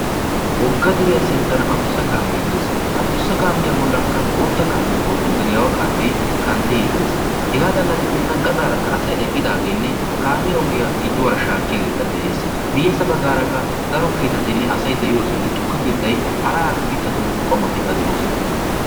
Wogga deeriya sinttan addussa kaame de'ees. Ha addussa kaamiya bollanka botta kaame oyddu geddiyara de'yage kanttidi de'ees. Hega xalla giddena gaxaraka asaay eqqidagene kaamiya ogiya giduwara shakkiyaageka de'ees. A miiyesa baggaraka daro keettatine asaay de'iyosayine tuukke keettay harahara miittatu qommotika de'osona.